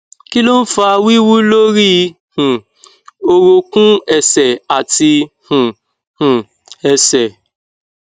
kí ló ń fa wíwu lórí um orúnkún ẹsẹ̀ àti um um ẹsẹ̀